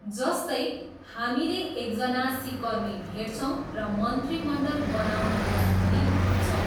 जस्तै, हामीले एकजना सिकर्मी भेटछौँ र मन्त्रीमण्डल बनाउनुहोस् भनी भन्छौँ।